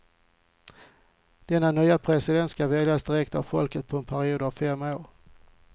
Denna nya president ska väljas direkt av folket på en period av fem år.